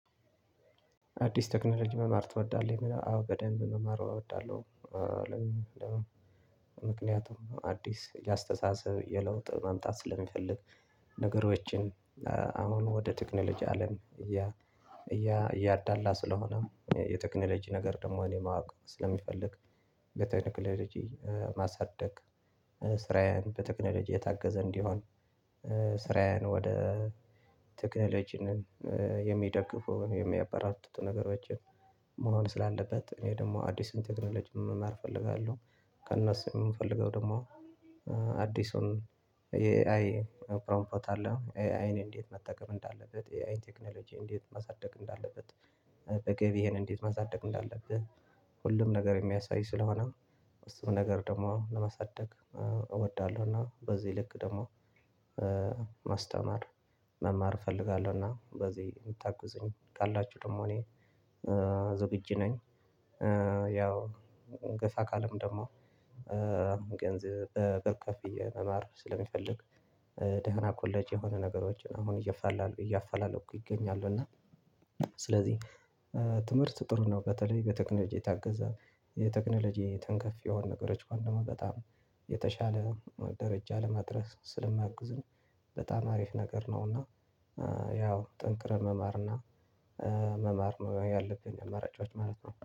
አዲስ ቴክኖሎጂ መማር ትወዳለህ? አዎ በደንብ መማር እወዳለሁ። ምክንያቱም አዲስ የአስተሳሰብ የለውጥ ማምጣት ስለሚፈልግ። ነገሮችን አሁን ወደ ቴክኖሎጂ አለም እያ እያዳላ ስለሆነ የቴክኖሎጂ ነገር ደግሞ እኔ ማወቅ ስለምፈልግ። የተክነልጅ ማሳደግ ስራዬን በተክነለጅ የታገዘ እንዲሆን ስራዬን ወደ ተክነለጅ የሚደግፉን የሚያበራቱቱ ነገሮችን መሆን ስላለበት እኔ ደግሞ አዲሱን የተክኖሎጂ መማር እፈልጋለሁ። ከእነሱ የምፈልገው ደግሞ አዲሱን የኤአይ አፕሮንፎርም አለ ኤአይን እንዴት መጠቀም እንዳለበት የአይ ቴክኖሎጂ እንዴት ማሳደግ እንዳለበት። በግብ ይሄን እንዴት ማሳደግ እንዳለበት ሁሉም ነገር የሚያሳይ ስለሆነ እሱም ነገር ደግሞ ለመሳደግ እወዳለሁ። እና በዚህ ልክ ደግሞ ማስተማር መማር እፈልጋለሁ። እና በዚህ የምታገዙኝ ካላችሁ ደግሞ እኔ ዝግጅ ነኝ። ያው ገሳ አካልም ደግሞ ገንዘብ ተቀብየ መማር ስለሚፈልግ። ደህና ኮሌጅ የሆነ ነገሮችን አሁን እየፋላለሁ እያፋላለኩ እገኛሉሁ እና ስለዚህ ትምህርት ጥሩ ነው። በተለይ በቴክኖሎጂ የታገዘ የቴክኖሎጂ ተንከፊ የሆኑ ነገሮች ከሆኑ ደግሞ በጣም የተሻለ ደረጃ ለማድረስ ስለማግዝን በጣም አሪፍ ነገር ነው። እና ያው ጠንቅረህ መማርና መማር ነው ያለብኝ አማራጮች ማለት ነው